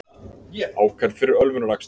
Ákærð fyrir ölvunarakstur